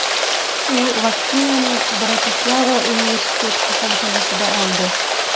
U vaksinani Bratislava universitet kasalxonasida oldi.